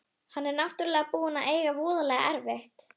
Hann er náttúrlega búinn að eiga voðalega erfitt.